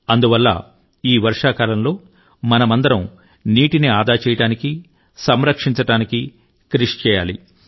అందువల్ల ఈ వర్షాకాలంలో మనమందరం నీటిని ఆదా చేయడానికి సంరక్షించడానికి కృషి చేయాలి